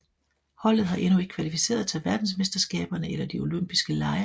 Holdet har endnu ikke kvalificeret sig til verdensmesterskaberne eller de olympiske lege